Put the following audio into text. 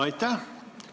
Aitäh!